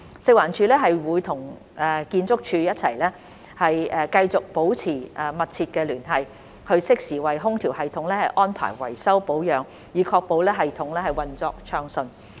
食環署會與建築署一起繼續保持緊密聯繫，適時為空調系統安排維修保養，以確保系統運作暢順。